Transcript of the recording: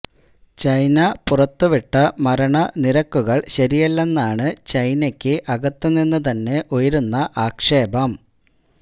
China പുറത്തുവിട്ട മരണ നിരക്കുകള് ശരിയല്ലെന്നാണ് ചൈനയ്ക്ക് അകത്ത് നിന്നു തന്നെ ഉയരുന്ന ആക്ഷേപം